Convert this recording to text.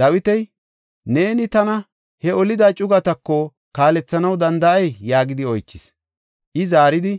Dawiti, “Neeni tana he olida cugatako kaalethanaw danda7ay?” yaagidi oychis. I zaaridi,